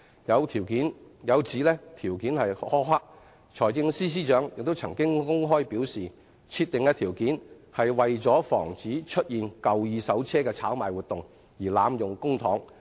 對於有指相關條件苛刻，財政司司長曾公開表示，設定的條件為防止出現二手車的炒賣活動而濫用公帑。